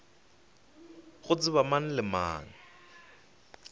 go tseba mang le mang